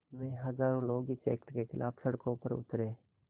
में हज़ारों लोग इस एक्ट के ख़िलाफ़ सड़कों पर उतरे